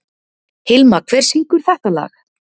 Hilma, hver syngur þetta lag?